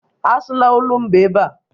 Asụla olumba ebe a!